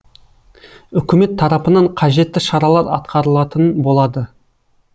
үкімет тарапынан қажетті шаралар атқарылатын болады